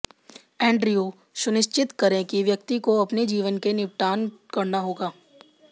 Andrew सुनिश्चित करें कि व्यक्ति को अपने जीवन के निपटान करना होगा